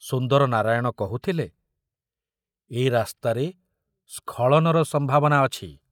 ସୁନ୍ଦର ନାରାୟଣ କହୁଥିଲେ, ଏ ରାସ୍ତାରେ ସ୍ଖଳନର ସମ୍ଭାବନା ଅଛି।